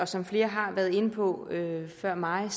som flere har været inde på før mig